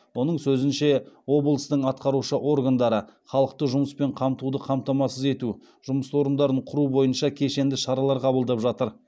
оның сөзінше облыстың атқарушы органдары халықты жұмыспен қамтуды қамтамасыз ету жұмыс орындарын құру бойынша кешенді шаралар қабылдап жатыр